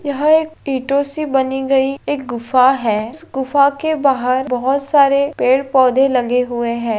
यह एक ईटो से बनी गयी एक गुफा है इस गुफा के बाहर बहुत सारे पेड़-पौधे लगे हुए है।